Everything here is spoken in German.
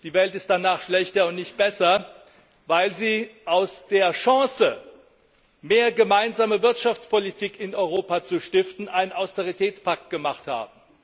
Die Welt ist danach schlechter und nicht besser, weil sie aus der Chance, mehr gemeinsame Wirtschaftspolitik in Europa zu stiften, einen Austeritätspakt gemacht haben.